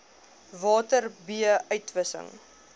water b uitwissing